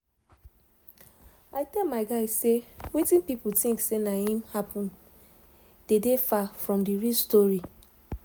i tell my guy say wetin pipo think say na im happen dey dey far from d real story